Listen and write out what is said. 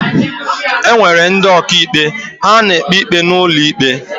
Enwere ndị ọkà ikpe, ha na-ekpe ikpe n'ụlọ íkpè.